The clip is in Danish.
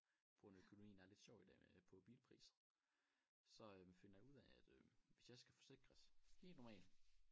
På grund af økonomien er lidt sjov i dag med på bilpriser så øh finder jeg ud af at øh hvis jeg skal forsikres helt normalt